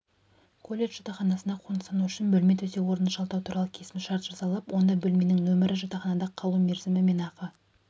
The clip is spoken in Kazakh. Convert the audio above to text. колледж жатақханасына қоныстану үшін бөлме төсек-орынды жалдау туралы келісімшарт жасалып онда бөлменің нөмірі жатақханада қалу мерзімі мен ақы